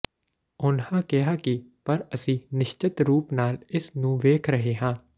ਉਨ੍ਹਾਂ ਕਿਹਾ ਕਿ ਪਰ ਅਸੀਂ ਨਿਸ਼ਚਤ ਰੂਪ ਨਾਲ ਇਸ ਨੂੰ ਵੇਖ ਰਹੇ ਹਾਂ